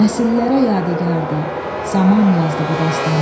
Nəsillərə yadigardır, zaman yazdı bu dastanı.